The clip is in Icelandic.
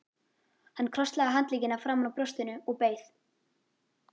Hann krosslagði handleggina framan á brjóstinu og beið.